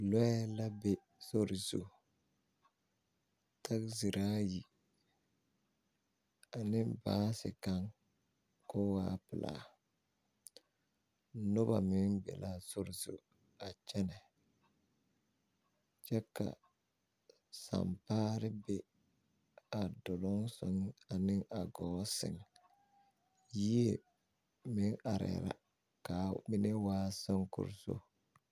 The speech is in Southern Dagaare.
Lɔɛ la be sori zu taɡeziri ayi ane baase kaŋ ka o waa pelaa noba meŋ be la a sori a kyɛnɛ kyɛ ka sampaare be a doloŋ sɛŋ ane a ɡɔɔ sɛŋ yie meŋ arɛɛ la ka a mine waa soŋkoroso .